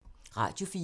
Radio 4